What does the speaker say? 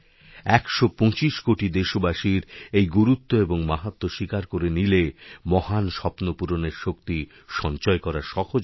একশোপঁচিশ কোটি দেশবাসীর এই গুরুত্বএবং মাহাত্ম্য স্বীকার করে নিলে মহান স্বপ্ন পূরণের শক্তি সঞ্চয় করা সহজ হবে